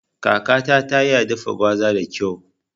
Kakata ta iya dafa gwaza da kyau